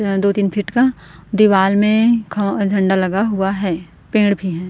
दो तीन फीट का दीवार में ख झंडा लगा हुआ है पेड़ भी है।